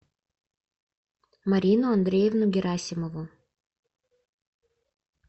марину андреевну герасимову